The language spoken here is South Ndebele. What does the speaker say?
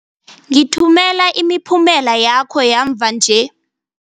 Ngithumela imiphumela yakho yamva-nje.